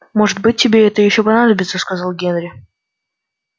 может быть тебе это ещё понадобится сказал генри